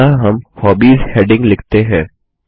अतः हम hobbies heading लिखते हैं